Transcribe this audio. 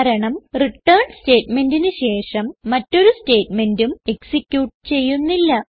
കാരണം റിട്ടേൺ സ്റ്റേറ്റ്മെന്റിന് ശേഷം മറ്റൊരു സ്റ്റേറ്റ്മെന്റും എക്സിക്യൂട്ട് ചെയ്യുന്നില്ല